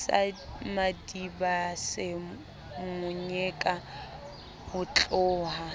sa madibase mo nyeka hotloha